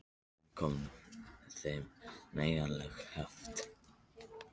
Og hvaðan kom þeim nægjanleg heift?